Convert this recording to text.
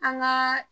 An ka